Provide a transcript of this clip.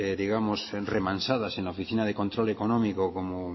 digamos remansadas en la oficina de control económico como